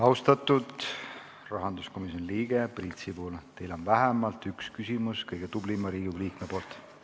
Austatud rahanduskomisjoni liige Priit Sibul, teile on vähemalt üks küsimus kõige tublimalt Riigikogu liikmelt.